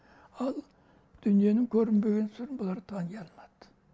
ал дүниенің көрінбеген сырын бұлар тани алмады